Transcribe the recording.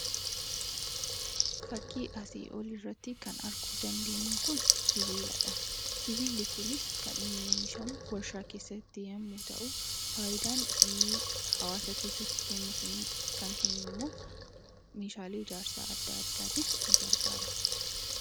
Fakkii asii olii irratti kan arguu dandeenyu kun sibiiladha. Sibiilli kunis kan inni oomishamu warshaa keessatti yommuu ta'u, faayidaan inni hawwaasa keessatti kennuuf, kan kennu immoo meeshaalee ijaarsa adda addaatiif ni gargaara.